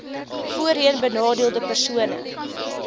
voorheen benadeelde persone